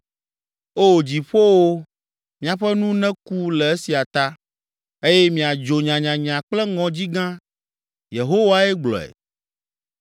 O, dziƒowo, miaƒe nu neku le esia ta, eye miadzo nyanyanya kple ŋɔdzi gã.” Yehowae gblɔe.